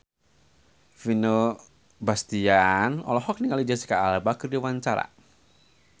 Vino Bastian olohok ningali Jesicca Alba keur diwawancara